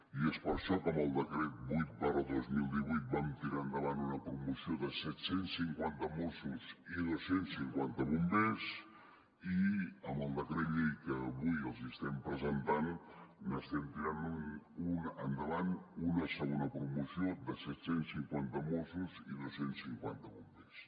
i és per això que amb el decret vuit dos mil divuit vam tirar endavant una promoció de set cents i cinquanta mossos i dos cents i cinquanta bombers i amb el decret llei que avui els estem presentant estem tirant endavant una segona promoció de set cents i cinquanta mossos i dos cents i cinquanta bombers